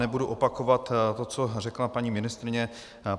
Nebudu opakovat to, co řekla paní ministryně.